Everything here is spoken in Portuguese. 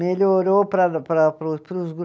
Melhorou para para para, para os